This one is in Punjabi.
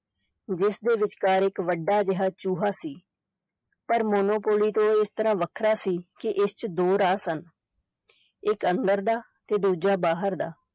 ਜਿਸਦੇ ਵਿਚਕਾਰ ਇੱਕ ਵੱਡਾ ਜਿਹਾ ਚੂਹਾ ਸੀ ਪਰ monopoly ਤੋਂ ਇਸ ਤਰ੍ਹਾਂ ਵੱਖਰਾ ਸੀ ਕਿ ਇਸ ਚ ਦੋ ਰਾਹ ਸਨ ਇੱਕ ਅੰਦਰ ਦਾ ਤੇ ਦੂਜਾ ਬਾਹਰ ਦਾ।